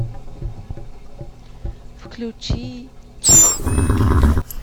включи чик